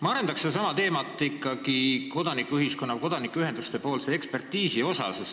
Ma arendan sedasama teemat, seda kodanikuühenduste ekspertiisi teemat.